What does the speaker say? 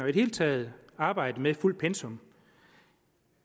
det hele taget arbejde med fuldt pensum